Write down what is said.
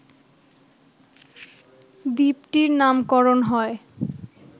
দ্বীপটির নামকরণ হয়